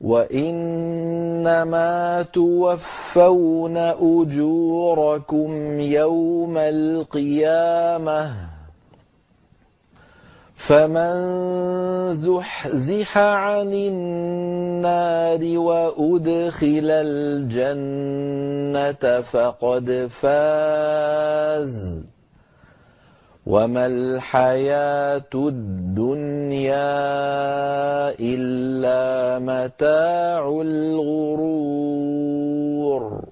وَإِنَّمَا تُوَفَّوْنَ أُجُورَكُمْ يَوْمَ الْقِيَامَةِ ۖ فَمَن زُحْزِحَ عَنِ النَّارِ وَأُدْخِلَ الْجَنَّةَ فَقَدْ فَازَ ۗ وَمَا الْحَيَاةُ الدُّنْيَا إِلَّا مَتَاعُ الْغُرُورِ